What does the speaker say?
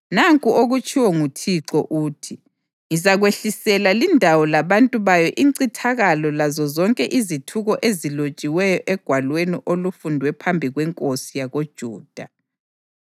‘Nanku okutshiwo nguThixo uthi: Ngizakwehlisela lindawo labantu bayo incithakalo lazozonke izithuko ezilotshiweyo egwalweni olufundwe phambi kwenkosi yakoJuda.